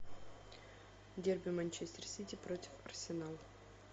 дерби манчестер сити против арсенала